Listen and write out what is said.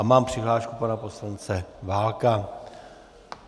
A mám přihlášku pana poslance Válka.